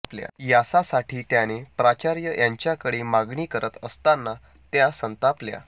यासासाठी त्याने प्राचार्या यांच्याकडे मागणी करत असताना त्या संतापल्या